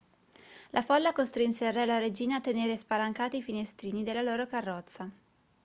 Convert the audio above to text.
la folla costrinse il re e la regina a tenere spalancati i finestrini della loro carrozza